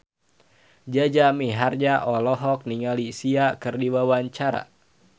Jaja Mihardja olohok ningali Sia keur diwawancara